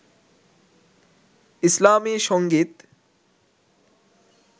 ইসলামী সংগীত